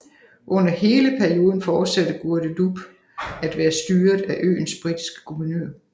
Under hele perioden fortsatte Guadeloupe at være styret af øens britiske guvernør